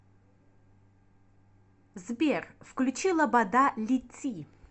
сбер включи лобода лети